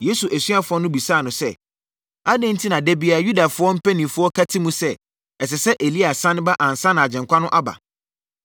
Yesu asuafoɔ no bisaa no sɛ, “Adɛn enti na da biara Yudafoɔ mpanin ka ti mu sɛ, ɛsɛ sɛ Elia sane ba ansa na Agyenkwa no aba?”